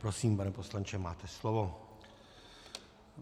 Prosím, pane poslanče, máte slovo.